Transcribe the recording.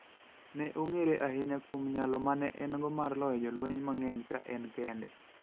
Ne ong'ere ahinya kuom nyalo ma ne en go mar loyo jolweny mang'eny ka en kende.